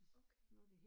Okay